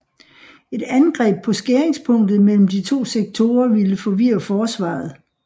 Et angreb på skæringspunktet mellem de to sektorer ville forvirre forsvaret